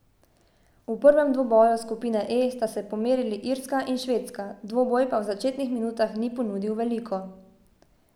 V prvem dvoboju skupine E sta se pomerili Irska in Švedska, dvoboj pa v začetnih minutah ni ponudil veliko.